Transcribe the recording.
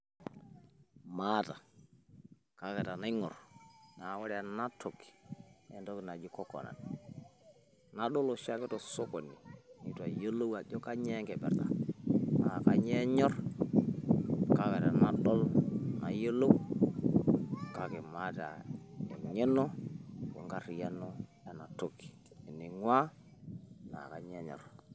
maata kake tenaing'orr wore ena toki naa entoki naji coconut nadol oshiake tosokoni nitu ayiolou ajo kainyio enkipirta naa kainyio enyorr kake tenadol nayiolou kake mata eng'eno wenkariyiano enatoki ening'uaa na kainyio enyorr